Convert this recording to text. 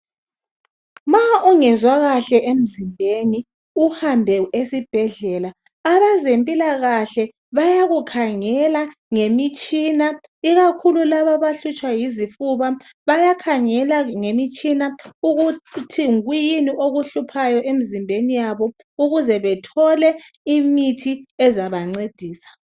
Ma ungezwa kahle emzimbeni uhambe esibhedlela, abazemphilakahle bayakukhangela ngemitshina, ikakhulu labo abahlutshwa yizifuba, bayakhangela ngemitshina ukuthi yikuyina okuhluphayo emzimbeni yabo ukuze bathole okuzaba ncedisa.